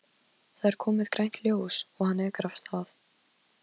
Það er komið grænt ljós og hann ekur af stað.